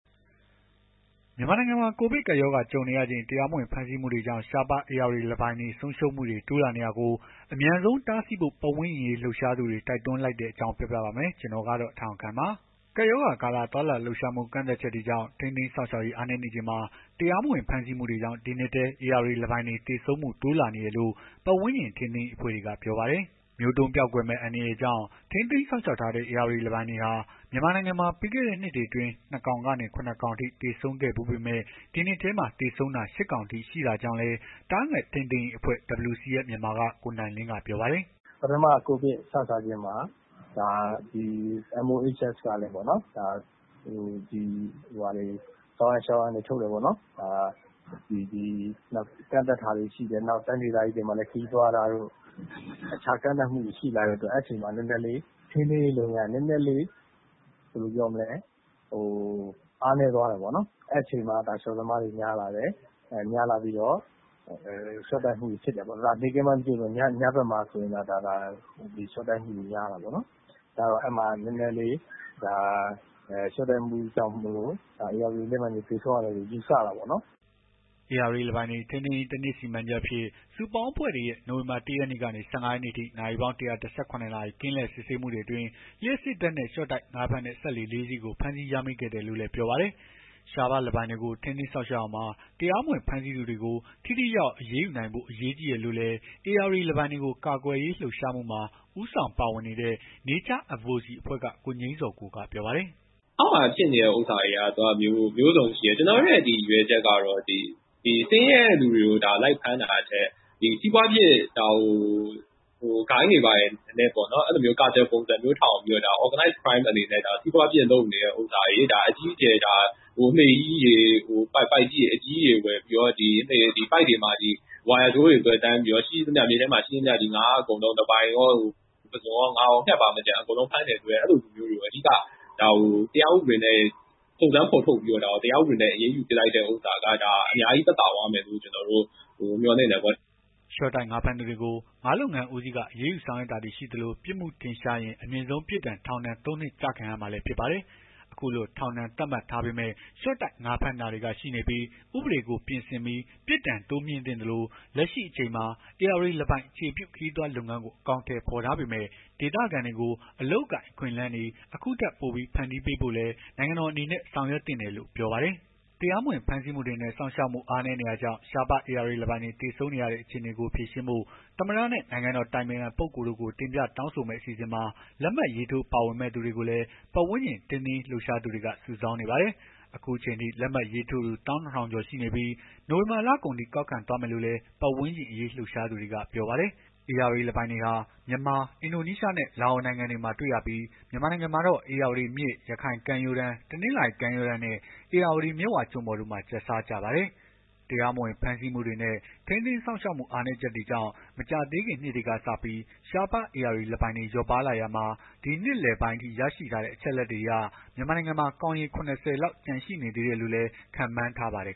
မြန်မာနိုင်ငံမှာ ကိုဗစ်ကပ်ရောဂါ ကြုံနေရချိန် တရားမဝင် ဖမ်းဆီးမှုတွေကြောင့် ရှားပါး ဧရာဝတီလင်းပိုင် ဆုံးရှုံးမှုတွေ တိုးလာနေတာကို အမြန်ဆုံးတားဆီးဖို့ ပတ်ဝန်းကျင်အရေး လှုပ်ရှားသူတွေ တိုက်တွန်းလိုက်တဲ့အကြောင်း ကို ထက်အောင်ခန့်ပြောပြပါမယ်။ ကပ်ရောဂါကာလ သွားလာလှုပ်ရှားမှု ကန့်သတ်ချက်တွေကြောင့် ထိန်းသိမ်းစောင့်ရှောက်ရေး အားနည်းနေချိန်မှာ တရားမဝင် ဖမ်းဆီးမှုတွေကြောင့် ဒီနှစ်ထဲ ဧရာဝတီလင်းပိုင်တွေ သေဆုံးမှု တိုးလာနေတယ်လို့ ပတ်ဝန်းကျင် ထိန်းသိမ်းရေးအဖွဲ့တွေက ပြောပါတယ်။ မျိုးတုန်းပျောက်ကွယ်မယ့် အန္တရာယ်ကြောင့် ထိန်းသိမ်းစောင့်ရှောက်ထားတဲ့ ဧရာဝတီလင်းပိုင်တွေဟာ မြန်မာနိုင်ငံမှာ ပြီးခဲ့တဲ့နှစ်တွေအတွင်း ၂ ကောင်ကနေ ၇ ကောင်အထိ သေဆုံးခဲ့ဘူးပေမဲ့ ဒီနှစ်ထဲမှာ သေဆုံးတာ ၈ ကောင်အထိ ရှိခဲ့ကြောင်းလည်း သားငှက်ထိန်းသိမ်းရေးအဖွဲ့ WCS မြန်မာက ကိုနိုင်လင်းက ပြောပါတယ်။ “ပထမ ကိုဗစ် စစချင်းမှာ MOHS ကလည်း ဆောင်ရန်ရှောင်ရန်တွေ ထုတ်တယ်ပေါ့နော်။ ကန့်သတ်တာတွေ ရှိတယ် တိုင်းဒေသကြီးတွေမှာလည်း ခရီးသွားတာတို့ အခြားကန့်သတ်မှုတွေရှိလာလို့ အဲ့အချိန်မှာ နည်းနည်းလေး ထိန်းသိမ်းရေး လုပ်ငန်းက နည်းနည်းလေး ဘယ်လိုပြောမလဲ အားနည်းသွားတယ်ပေါ့နော်။ အဲ့အချိန်မှာ ရှော့သမားတွေ များလာတယ်။ များလာပြီးတော့ ရှော့တိုက်မှုတွေ ဖြစ်တယ်ပေါ့။ နေ့ခင်းပိုင်း မသိသာ ပေမယ့် ညဘက်တွေမှာ ရှော့တိုက်မှုတွေ များလာတာပေါ့နော်။ အဲ့ရှော့တိုက်မှုကြောင့်မို့လို့ ဧရာဝတီ လင်းပိုင်းတွေ သေဆုံးရတယ်လို့ ယူဆတာပေါ့နော်။” ဧရာဝတီလင်းပိုင်တွေ ထိန်းသိမ်းရေး ၁ နှစ် စီမံချက်အဖြစ် စုပေါင်းအဖွဲ့တွေရဲ့ နိုဝင်ဘာ ၁ ရက်နေ့ကနေ ၁၅ ရက်နေ့အထိ နာရီပေါင်း ၁၁၇ နာရီ ကင်းလှည့် စစ်ဆေးမှုအတွင်း လျှပ်စစ်ဓာတ်နဲ့ ရှော့တိုက်ငါးဖမ်းတဲ့ စက်လှေ ၄ စီးကို ဖမ်းဆီး ရမိခဲ့တယ်လို့လည်း ပြောပါတယ်။ ရှားပါးလင်းပိုင်တွေကို ထိန်းသိမ်းစောင့်ရှောက်ရာမှာ တရားမဝင် ဖမ်းဆီးသူတွေကို ထိထိရောက်ရောက် အရေးယူနိုင်ဖို့ အရေးကြီးတယ်လို့လည်း ဧရာဝတီလင်းပိုင်တွေကို ကာကွယ်ရေးလှုပ်ရှားမှုမှာ ဦးဆောင်ပါဝင်နေတဲ့ Nature Advocacy အဖွဲ့က ကိုငြိမ်းဇော်ကိုက ပြောပါတယ်။ “အောက်မှာဖြစ်နေတာတွေက မျိုးစုံရှိတယ်။ ကျွန်တော်တို့ရဲ့ရည်ရွယ်ချက်က ဆင်းရဲတဲ့သူတွေကို လိုက်ဖမ်းတာထက် စီးပွားဖြစ် ဂိုဏ်တွေဘာတွေနဲ့ပေါ့နော် အဲ့လိုမျိုး စီးပွားဖြစ်လုပ်နေတဲ့ဟာတွေ အကြီးအကျယ် လှေကြီးတွေ ပိုက်ကြီးတွေ အကြီးအကျယ် ဝယ်ပြီး ပိုက်တွေမှာ ဝါယာကြိုးတွေ သွယ်တန်းပြီးတော့ မြစ်ထဲမှာ ရှိသမျှ ငါးအကုန်လုံး လင်းပိုင်ကော၊ ပုဇွန်ကော၊ ငါးကော၊ ငှက်ပါမကျန် အဲ့လိုလူမျိုးတွေကို တရားဥပဒေနဲ့ အရေးယူလိုက်တဲ့ဟာ အများကြီး သက်သာသွားမယ်လို့ ကျွန်တော်တို့ မျှော်လင့်တယ်ပေါ့နော်။” ရှော့တိုက်ငါးဖမ်းသူတွေကို ငါးလုပ်ငန်းဦးစီးက အရေးယူဆောင်ရွက်တာတွေ ရှိသလို ပြစ်မှုထင်ရှားရင် အမြင့်ဆုံး ပြစ်ဒဏ် ထောင်ဒဏ် ၃ နှစ် ကျခံရမှာလည်းဖြစ်ပါတယ်။ အခုလို ထောင်ဒဏ် သတ်မှတ် ထားပေမယ့် ရှော့တိုက် ငါးဖမ်းတာတွေက ရှိနေပြီး ဥပဒေကို ပြင်ဆင်ပြီး ပြစ်ဒဏ်တိုးမြှင့်သင့်သလို လက်ရှိအချိန်မှာ ဧရာဝတီ လင်းပိုင် အခြေပြု ခရီးသွား လုပ်ငန်းကို အကောင်အထည် ဖော်ထားပေမယ့် ဒေသခံတွေကို အလုပ်အကိုင် အခွင့်အလမ်းတွေ အခုထက်ပိုပြီး ဖန်တီးပေးဖို့လည်း နိုင်ငံတော် အနေနဲ့ ဆောင်ရွက်သင့်တယ်လို့လည်း ပြောပါတယ်။ တရားမဝင် ဖမ်းဆီးမှုတွေနဲ့ စောင့်ရှောက်မှု အားနည်းနေတာတွေကြောင့် ရှားပါး ဧရာဝတီလင်ပိုင်းတွေ သေဆုံးနေရတဲ့ အခြေအနေကို ဖြေရှင်းဖို့ သမ္မတနဲ့ နိုင်ငံတော်အတိုင်ပင်ခံပုဂ္ဂိုလ်တို့ကို တင်ပြတောင်းဆိုမယ့် အစီအစဉ်မှာ လက်မှတ်ရေးထိုး ပါဝင်မယ့် သူတွေကိုလည်း ပတ်ဝန်းကျင်ထိန်းသိမ်းရေး လှုပ်ရှားသူတွေ စုဆောင်းနေပါတယ်။ အခုအချိန်အထိ လက်မှတ်ရေးထိုးသူ ၁၂၀၀၀ ကျော် ရရှိနေပြီး နိုဝင်ဘာလကုန်အထိ ကောက်ခံသွားမယ်လို့လည်း ပတ်ဝန်းကျင်အရေး လှုပ်ရှားသူတွေက ပြောပါတယ်။ ဧရာဝတီလင်းပိုင်တွေဟာ မြန်မာ၊ အင်ဒိုနီးရှားနဲ့ လာအိုနိုင်ငံတွေမှာ တွေ့ရပြီး မြန်မာနိုင်ငံမှာတော့ ဧရာဝတီမြစ် ရခိုင်ကမ်းရိုးတန်း တနင်္သာရီ ကမ်းရိုးတန်းနဲ့ ဧရာဝတီ မြစ်ဝကျွန်းပေါ်တို့မှာ ကျက်စားကြပါတယ်။ တရားမဝင် ဖမ်းဆီးမှုတွေနဲ့ ထိန်းသိမ်းစောင့်ရှောက်မှု အားနည်းချက်တွေကြောင့် မကြာသေးခင်နှစ်တွေကစပြီးရှားပါးဧရာဝတီလင်းပိုင်တွေ လျော့ပါးလာရာမှာ ဒီနှစ်လယ်ပိုင်းအထိ ရရှိထားတဲ့ အချက်အလက်တွေအရ မြန်မာနိုင်ငံမှာ ကောင်ရေ ၇၀ လောက် ကျန်ရှိနေသေးတယ်လို့လည်း ခန့်မှန်းထားပါတယ်